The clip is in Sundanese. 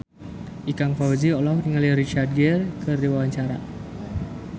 Ikang Fawzi olohok ningali Richard Gere keur diwawancara